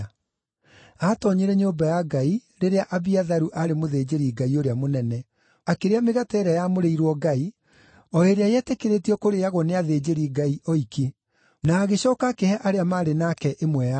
Aatoonyire nyũmba ya Ngai rĩrĩa Abiatharu aarĩ mũthĩnjĩri-Ngai ũrĩa mũnene, akĩrĩa mĩgate ĩrĩa yamũrĩirwo Ngai, o ĩrĩa yetĩkĩrĩtio kũrĩĩagwo nĩ athĩnjĩri-Ngai oiki. Na agĩcooka akĩhe arĩa maarĩ nake ĩmwe yayo.”